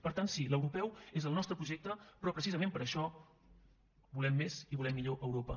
per tant sí l’europeu és el nostre projecte però precisament per això volem més i volem millor europa